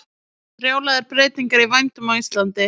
Brjálaðar breytingar í vændum á Íslandi